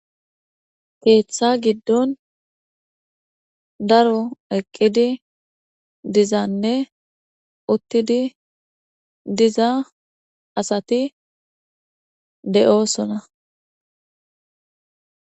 keeththa giddon daro eqqidi dizanne uttidi diza asati de7oosona